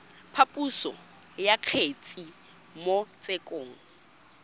phaposo ya kgetse mo tshekong